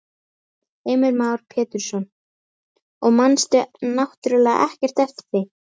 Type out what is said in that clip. Heimir Már Pétursson: Og manst náttúrulega ekkert eftir því?